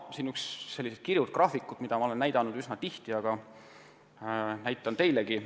Siin on üks selliseid kirjuid graafikuid, mida ma olen üsna tihti näidanud varemgi, aga näitan teilegi.